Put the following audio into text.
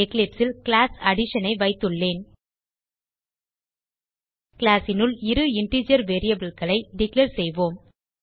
eclipseல் class addition ஐ வைத்துள்ளேன் classனுள் இரு இன்டிஜர் variableகளை டிக்ளேர் செய்வோம்